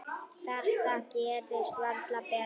Þetta gerist varla betra.